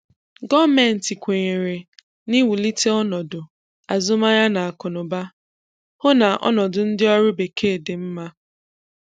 Gọọmenti kwenyere n’iwulite ọnọdụ azụmahịa na akụ na ụba, hụ na ọnọdụ ndị ọrụ Bekee dị mma.